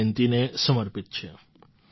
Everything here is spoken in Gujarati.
ની જયંતીને સમર્પિત છે